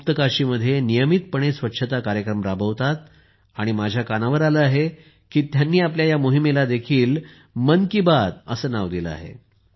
ते गुप्तकाशीमध्ये नियमितपणे स्वच्छता कार्यक्रम राबवतात आणि माझ्या कानावर आले आहे की त्यांनी आपल्या या मोहिमेलाही मन की बात असे नाव दिले आहे